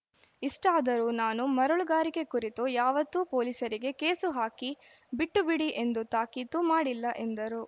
ಇಷ್ಟಾದರೂ ನಾನು ಮರಳುಗಾರಿಕೆ ಕುರಿತು ಯಾವತ್ತೂ ಪೋಲೀಸರಿಗೆ ಕೇಸು ಹಾಕಿ ಬಿಟ್ಟು ಬಿಡಿ ಎಂದು ತಾಕೀತು ಮಾಡಿಲ್ಲ ಎಂದರು